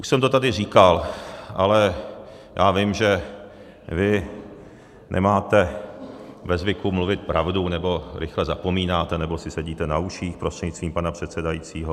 Už jsem to tady říkal, ale já vím, že vy nemáte ve zvyku mluvit pravdu nebo rychle zapomínáte nebo si sedíte na uších prostřednictvím pana předsedajícího.